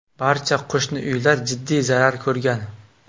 Barcha qo‘shni uylar jiddiy zarar ko‘rgan.